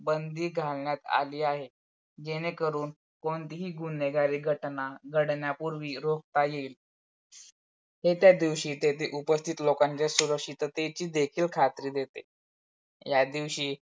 बंदी घालण्यात आली आहे. जेणेकरून कोणतीही गुन्हेगारी घटना घडण्यापूर्वी रोकता येईल ते त्यादिवशी तेथे उपस्थित असणाऱ्या लोकांची सुरक्षतेची देखील खात्री देते. त्या दिवशी